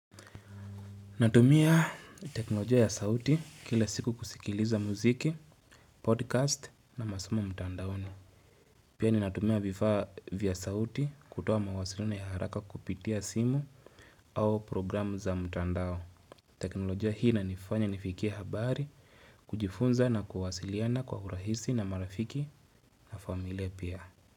Natumia teknolojia ya sauti kila siku kusikiliza muziki, podcast na masomo ya mtandaoni. Pia ninatumia vifaa vya sauti kutoa mawasiliano ya haraka kupitia simu au programu za mtandao. Teknolojia hii inanifanya nifikia habari kujifunza na kuhasiliana kwa urahisi na marafiki na familia pia.